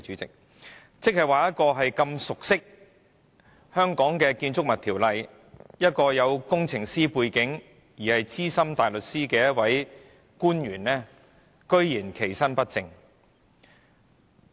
這樣一位熟悉本地《建築物條例》、具有工程師背景和身兼資深大律師的官員，居然其身不正。